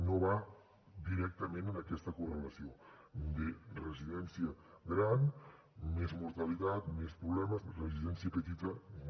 no va directament aquesta correlació de residència gran més mortalitat més problemes residència petita no